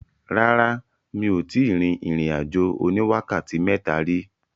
Rárá, mi ò tíì rin ìrìn-àjò oní wákàtí mẹ́ta rí.